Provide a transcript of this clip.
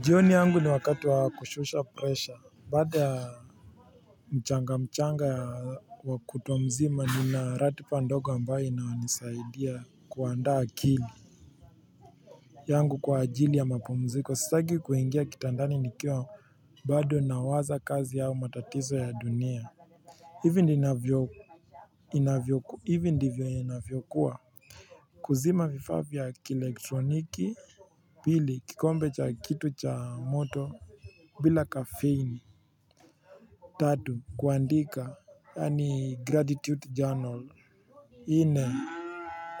Jioni yangu ni wakatu wa kushusha pressure baada ya mchanga mchanga wa kutuwa mzima ni narati pa ndogo ambayo inaonisaidia kuandaa akili yangu kwa ajili ya mapumziko sitaki kuingia kitandani nikiwa bado nawaza kazi yao matatizo ya dunia hivi ndivyo inavyokuwa kuzima vifaa vya kielektroniki pili kikombe cha kitu cha moto bila kafeini. Tatu Kuandika Yani gratitude journal ine.